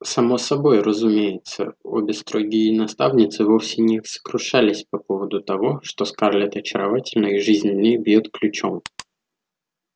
само собой разумеется обе строгие наставницы вовсе не сокрушались по поводу того что скарлетт очаровательна и жизнь в ней бьёт ключом